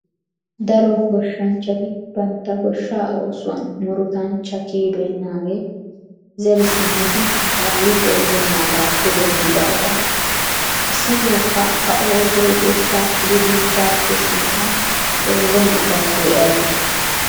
Daro goshshanchchati bantta goshshaa oosuwan murutanchcha kiyibeennaagge zeri simmidi kaallo xeellenaagaappe dendidaagana. Issitokka a oosoy goshshaa gidiichchaape sinttan xeellenna gaasoy ayibee?